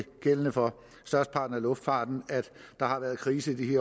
gældende for størsteparten af luftfarten at der har været krise i